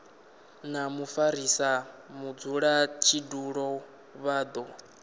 na mufarisa mudzulatshidulo vha do